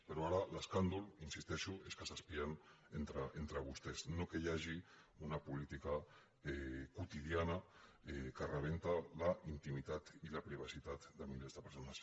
però ara l’escàndol hi insisteixo és que s’espien entre vostès no que hi hagi una política quotidiana que rebenta la intimitat i la privacitat de milers de persones